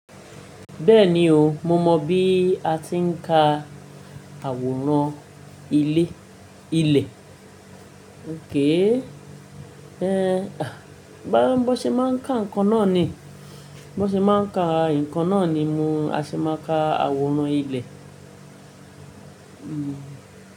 Bẹ́ẹ̀ni o, mo mọ̀ bí a ti ń ka àwòrán ilẹ̀ ilẹ̀. Ké é? Ẹ̀, à, bábo ṣe máa ń ka nǹkan náà ni. Bábo ṣe máa ń ka nǹkan náà ni mo, a ṣe máa ka àwòrán ilẹ̀ Hmm.